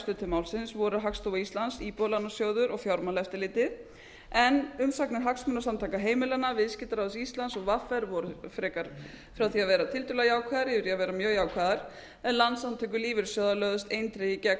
til málsins voru hagstofa íslands íbúðalánasjóður og fjármálaeftirlitið en umsagnar hagsmunasamtaka heimilanna viðskiptaráðs íslands og vr voru frekar frá því að vera tiltölulega jákvæðar yfir í að vera mjög jákvæðar en landssamtök lífeyrissjóða lögðust eindregið gegn